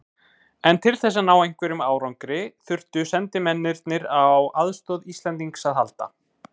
En til þess að ná einhverjum árangri þyrftu sendimennirnir á aðstoð Íslendings að halda.